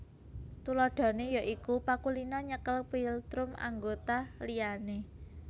Tuladhané ya iku pakulinan nyekel philtrum anggota liyane